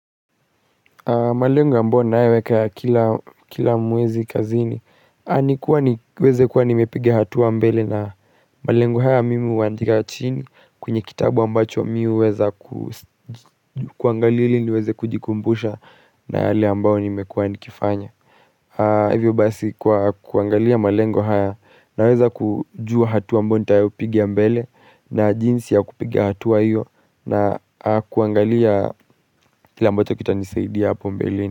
Malengo ambayo ninayoweka kila mwezi kazini niweze kuwa nimepiga hatua mbele na malengo haya muhimu huandika chini kwenye kitabu ambacho mi huweza kuangalia ili niweze kujikumbusha na yale ambayo nimekuwa nikifanya Hivyo basi kuangalia malengo haya naweza kujua hatua ambayo nitayo piga mbele na jinsi ya kupiga hatua hiyo na kuangalia kile ambacho kitanisaidia hapo mbele.